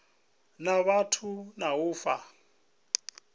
na vhathu na u fha